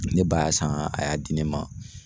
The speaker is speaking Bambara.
Ne ba y'a san a y'a di ne ma.